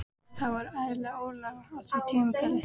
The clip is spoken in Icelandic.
Það var ægileg óregla á því tímabili.